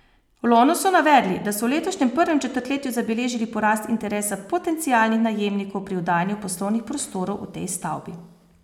V Lonu so navedli, da so v letošnjem prvem četrtletju zabeležili porast interesa potencialnih najemnikov pri oddajanju poslovnih prostorov v tej stavbi.